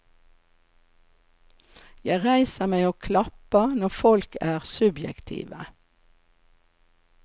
Jeg reiser meg og klapper når folk er subjektive.